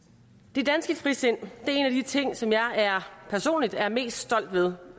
det danske frisind er en af de ting som jeg personlig er mest stolt af ved